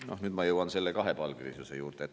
Nüüd ma jõuan kahepalgelisuse juurde.